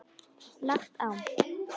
Lagt á.